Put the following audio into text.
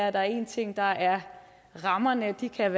at der er én ting der er rammerne og de kan